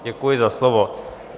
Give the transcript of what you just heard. Děkuji za slovo.